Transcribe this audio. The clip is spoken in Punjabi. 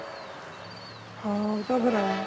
ਹਾਂ ਉਹ ਤਾਂ ਫੇਰ ਹੈ